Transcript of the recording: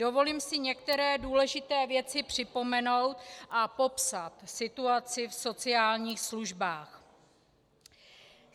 Dovolím si některé důležité věci připomenout a popsat situaci v sociálních službách.